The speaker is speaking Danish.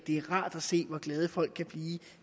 er rart at se hvor glade folk kan blive